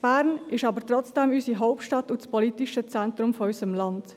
Bern ist unsere Hauptstadt und das politische Zentrum unseres Landes.